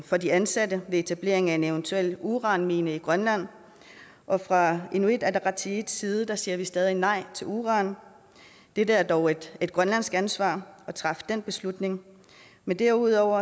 for de ansatte ved etablering af en eventuel uranmine i grønland og fra inuit ataqatigiits side siger vi stadig nej til uran det er dog et grønlandsk ansvar at træffe den beslutning men derudover